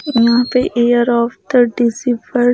यहां पे year of the डिजिबल--